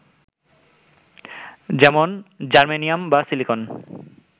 যেমন জার্মেনিয়াম বা সিলিকন